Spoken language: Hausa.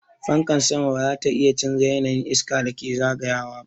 Fankar sama ba zata iya canza yanayin iskan da take zagayawa ba.